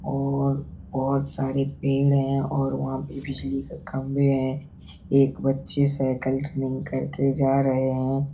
और बहुत सारे पेड़ है और वहाँ पे बिजली के खम्भे है। एक बच्ची साइकिल रिंग करके जा रहे है।